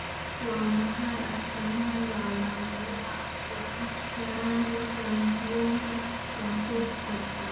Waa maxay astamaha iyo calaamadaha yaraanta Glutathionka synthetaska?